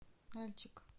нальчик